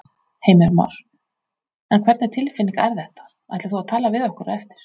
Heimir Már: En hvernig tilfinning er þetta, ætlar þú að tala við okkur á eftir?